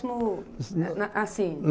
A assim?